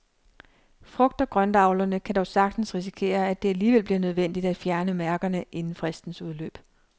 Frugt og grøntavlerne kan dog sagtens risikere, at det alligevel bliver nødvendigt at fjerne mærkerne inden fristens udløb.